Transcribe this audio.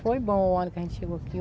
Foi bom o ano que a gente chegou aqui.